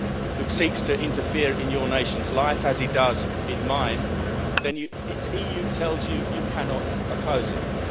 Soros, who seeks to interfere in your nation's life, as he does in mine, then the EU tells you that you cannot oppose